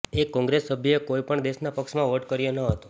એક કોંગ્રસ સભ્યે કોઈ પણ દેશના પક્ષમાં વોટ કર્યો ન હતો